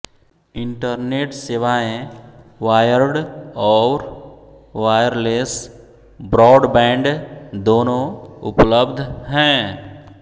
internet सेवाएं wired और wireless broadband दोनों उपलब्ध हैं